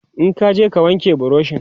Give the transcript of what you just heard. in kaje ka wanke burushin!